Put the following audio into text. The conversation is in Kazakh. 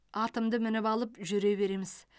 атымды мініп алып жүре береміз